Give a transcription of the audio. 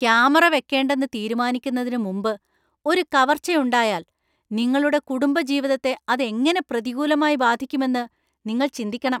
Camera വെക്കേണ്ടെന്ന് തീരുമാനിക്കുന്നതിന് മുമ്പ് ഒരു കവർച്ച ഉണ്ടായാൽ നിങ്ങളുടെ കുടുംബജീവിതത്തെ അത് എങ്ങനെ പ്രതികൂലമായി ബാധിക്കുമെന്ന് നിങ്ങൾ ചിന്തിക്കണം.